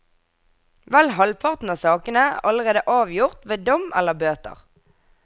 Vel halvparten av sakene er allerede avgjort ved dom eller bøter.